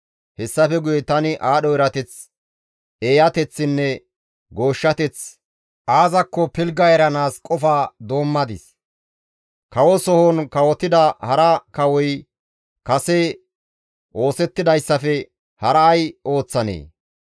Hessafe guye tani aadho erateththi, eeyateththinne gooshshateththi aazakko pilgga eranaas qofa doommadis; kawo sohon kawotida hara kawoy kase oosettidayssafe hara ay ooththanee?